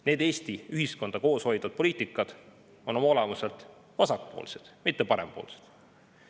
Need Eesti ühiskonda koos hoidvad poliitikasuunad on oma olemuselt vasakpoolsed, mitte parempoolsed.